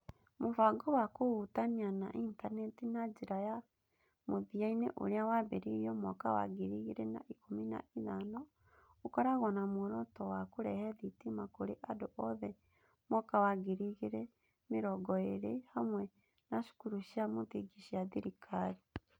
Mũbango wa Kũhutania na Intaneti na Njĩra ya Mũthia-inĩ, ũrĩa wambĩrĩirio mwaka wa ngiri igĩrĩ na ikũmi na ithano, ũkoragwo na muoroto wa kũrehe thitima kũrĩ andũ othe mwaka wa ngiri igĩrĩ na mĩrongo ĩĩrĩ, hamwe na cukuru cia mũthingi cia thirikari.